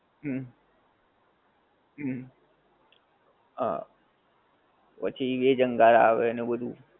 હુંમ. હુંમ. હા. પછી veg અંગાર આવે ને એવું બધુ.